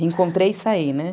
Reencontrei e saí, né?